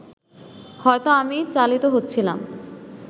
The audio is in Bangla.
হয়তো আমি চালিত হচ্ছিলাম